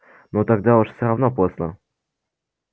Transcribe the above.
ну тогда уж всё равно поздно